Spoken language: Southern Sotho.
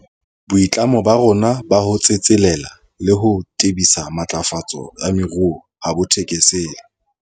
Boitlamo ba rona ba ho tsetselela le ho tebisa matlafatso ya moruo ha bo thekesele.